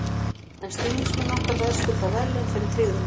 En stuðningsmenn okkar verðskulda verðlaun fyrir tryggðina.